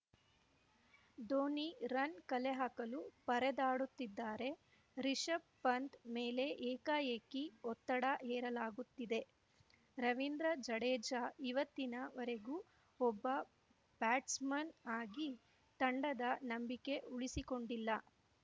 Dhoni run ಕಲೆಹಾಕಲು ಪರದಾಡುತ್ತಿದ್ದಾರೆ ರಿಶಭ್‌ ಪಂತ್‌ ಮೇಲೆ ಏಕಾಏಕಿ ಒತ್ತಡ ಹೇರಲಾಗುತ್ತಿದೆ ರವೀಂದ್ರ ಜಡೇಜಾ ಇವತ್ತಿನ ವರೆಗೂ ಒಬ್ಬ ಬ್ಯಾಟ್ಸ್‌ಮನ್‌ ಆಗಿ ತಂಡದ ನಂಬಿಕೆ ಉಳಿಸಿಕೊಂಡಿಲ್ಲ